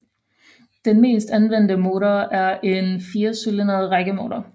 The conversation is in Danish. Den mest anvendte motor er en firecylindret rækkemotor